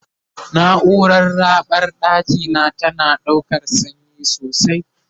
naurar raɓar ɗakina tana ɗaukan sanyi sosai